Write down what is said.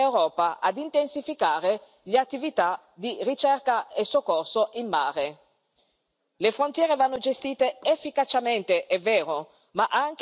Ricordo tuttavia che la Commissione, nello stesso pilastro, esorta l'Europa ad intensificare le attività di ricerca e soccorso in mare.